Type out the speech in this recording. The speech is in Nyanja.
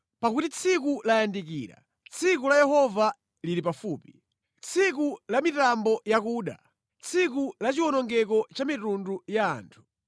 Pakuti tsiku layandikira, tsiku la Yehova lili pafupi, tsiku la mitambo yakuda, tsiku lachiwonongeko cha mitundu ya anthu.